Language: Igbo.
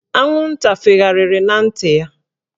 Anwụnta fegharịrị na ntị ya